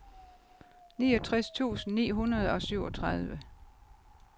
niogtres tusind ni hundrede og syvogtredive